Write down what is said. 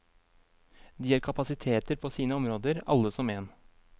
De er kapasiteter på sine områder alle som en.